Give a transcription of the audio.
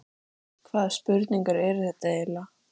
Hvaða spurningar eru þetta eiginlega?